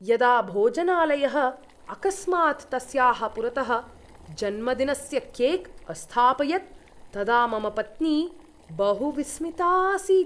यदा भोजनालयः अकस्मात् तस्याः पुरतः जन्मदिनस्य केक् अस्थापयत् तदा मम पत्नी बहु विस्मिता आसीत्।